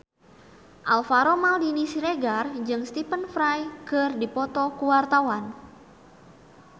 Alvaro Maldini Siregar jeung Stephen Fry keur dipoto ku wartawan